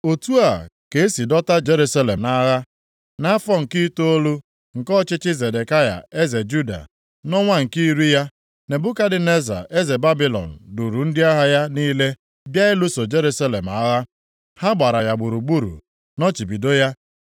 Otu a ka e si dọta Jerusalem nʼagha. Nʼafọ nke itoolu, nke ọchịchị Zedekaya eze Juda, nʼọnwa nke iri ya, Nebukadneza eze Babilọn duuru ndị agha ya niile bịa ibuso Jerusalem agha, Ha gbara ya gburugburu, nọchibido ya.